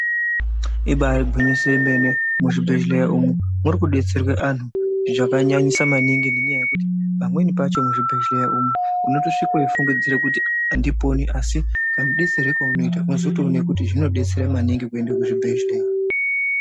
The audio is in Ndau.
Ibari gwinyiso remene muzvibhedhlera umu muri kudetserwa anhu zvakanyanyisa maningi ngenyaya yekuti pamweni pacho muzvibhedhlera umu unotosvika weifungidzira Kuti andiponi asi kamudetsero kaunoita unozoona kuti zvinodetsera maningi kuenda kuzvibhedhlera.